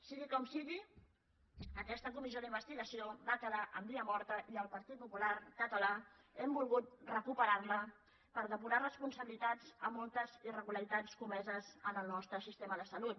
sigui com sigui aquesta comissió d’investigació va quedar en via morta i el partit popular català hem volgut recuperar la per depurar responsabilitats a moltes irregularitats comeses en el nostre sistema de salut